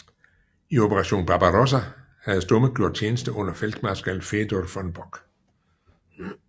I Operation Barbarossa havde Stumme gjort tjeneste under feltmarskal Fedor von Bock